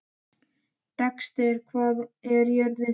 Dexter, hvað er jörðin stór?